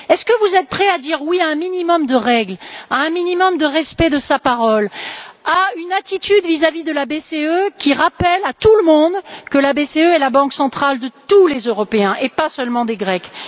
Êtes vous prêt à dire oui à un minimum de règles, à un minimum de respect de sa parole, à une attitude vis à vis de la BCE, qui rappelle à tout le monde que la BCE est la banque centrale de tous les Européens et pas seulement des Grecs.